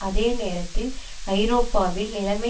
அதே நேரத்தில் ஐரோப்பாவில் நிலைமை